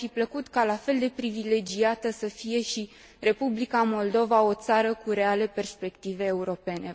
Mi ar fi plăcut ca la fel de privilegiată să fie și Republica Moldova, o țară cu reale perspective europene.